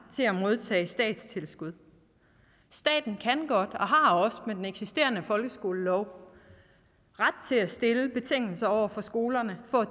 til at modtage statstilskud staten kan godt og har også med den eksisterende folkeskolelov ret til at stille betingelser over for skolerne for at